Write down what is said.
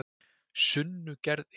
Sunnugerði